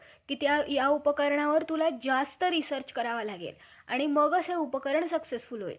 याविषयी याविषयी याविषयी मनूचा काही लेख आहे काय? धो नाही परंतु, ब्राम्हणाच्या उत्पत्तीस ब्रह्म हा मूळ कारण आहे.